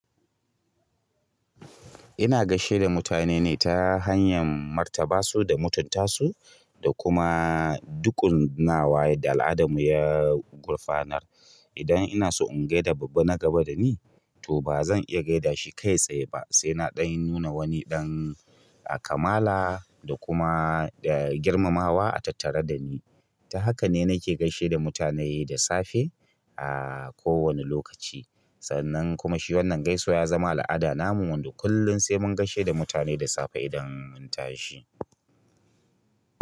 Ina gaishe da mutane ne ta hanyar martaba su da mutunta su da kuma duƙunnawa yadda al'adar mu ya gurfanar. Idan ina so in gai da babba na gaba da ni, to ba zan iya gaida shi kai tsaye ba, sai na ɗan nuna wani ɗan kamala da kuma girmamawa a tattare da ni. Ta haka ne nake gaishe da mutane da safe a kowane lokaci. Sannan kuma shi wannan gaisuwa ya zama al'ada namu wando kullum sai mun gaishe da mutane da safe idan mun tashi.